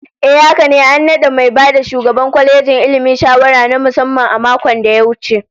Ehh haka ne, an nada mai ba shugaban kwalejin Ilmi shawara na musamman a makon da ya wuce